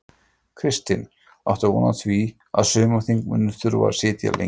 Kristinn: Áttu von á því að, að sumarþing muni þurfa að sitja lengi?